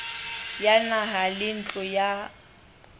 ya naha le ntlo ya